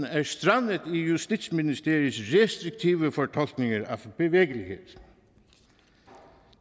er strandet i justitsministeriets restriktive fortolkninger af bevægelighed